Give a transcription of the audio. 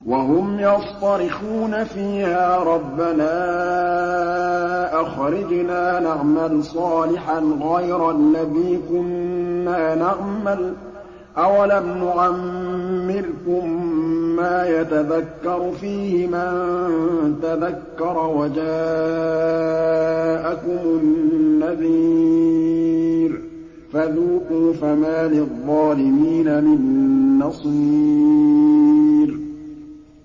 وَهُمْ يَصْطَرِخُونَ فِيهَا رَبَّنَا أَخْرِجْنَا نَعْمَلْ صَالِحًا غَيْرَ الَّذِي كُنَّا نَعْمَلُ ۚ أَوَلَمْ نُعَمِّرْكُم مَّا يَتَذَكَّرُ فِيهِ مَن تَذَكَّرَ وَجَاءَكُمُ النَّذِيرُ ۖ فَذُوقُوا فَمَا لِلظَّالِمِينَ مِن نَّصِيرٍ